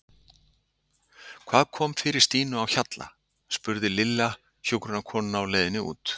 Hvað kom fyrir Stínu á Hjalla? spurði Lilla hjúkrunarkonuna á leiðinni út.